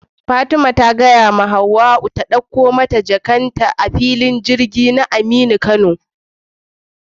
Fatima ta faɗa wa Hauwa ta ɗakko mata jakar ta a filin girgin sama na aminu kano